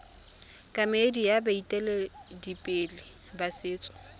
kemedi ya baeteledipele ba setso